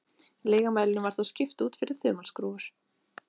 lygamælinum var þá skipt út fyrir þumalskrúfur